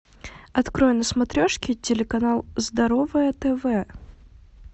открой на смотрешке телеканал здоровое тв